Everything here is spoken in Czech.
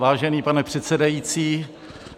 Vážený pane předsedající.